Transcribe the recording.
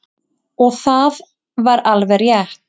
Og það var alveg rétt.